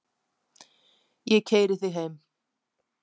Ég keyri þig heim.